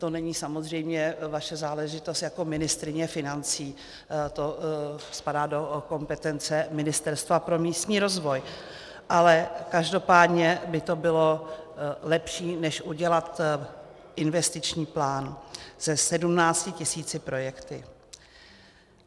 To není samozřejmě vaše záležitost jako ministryně financí, to spadá do kompetence Ministerstva pro místní rozvoj, ale každopádně by to bylo lepší než udělat investiční plán se 17 tisíci projekty.